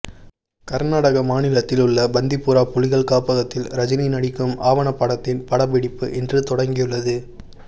கர்நாடக மாநிலத்தில் உள்ள பந்திபுரா புலிகள் காப்பகத்தில் ரஜினிகாந்த் நடிக்கும் ஆவணப்படத்தின் படப்பிடிப்பு இன்று தொடங்கியுள்ளது